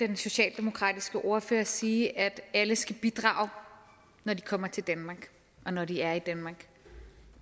den socialdemokratiske ordfører sige at alle skal bidrage når de kommer til danmark og når de er i danmark